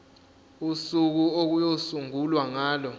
usuku okuyosungulwa ngalo